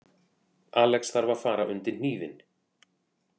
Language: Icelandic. Alex þarf að fara undir hnífinn